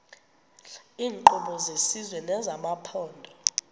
iinkqubo zesizwe nezamaphondo